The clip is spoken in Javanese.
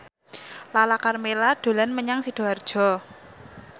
Lala Karmela dolan menyang Sidoarjo